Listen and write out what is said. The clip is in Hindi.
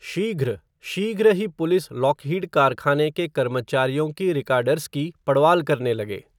शीघ्र, शीघ्र ही पुलिस, लॉकहीड कारखाने के कर्मचारियों की रिकाडर्स की, पड़वाल करने लगे